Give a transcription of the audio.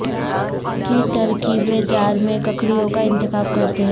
کی ترکیبیں جار میں ککڑیوں کا انتخاب کرتے ہیں